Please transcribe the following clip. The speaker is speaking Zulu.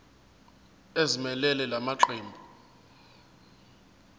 ezimelele la maqembu